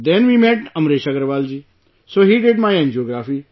Then we met Amresh Agarwal ji, so he did my angiography